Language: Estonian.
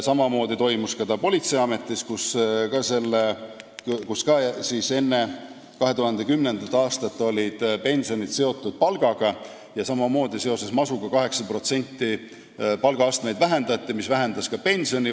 Samamoodi olid ka politseiametis enne 2010. aastat pensionid seotud palgaga ja samamoodi seoses masuga palgaastmeid 8% vähendati, mis vähendas ka pensione.